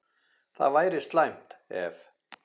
Það væri slæmt, ef